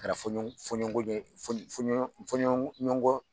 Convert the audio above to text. Kara foɲɔn foɲɔnkɔ ye fɔnɲɔn fɔɲɔn fɔɲɔngɔn